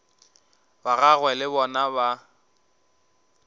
ba gagwe le bona ba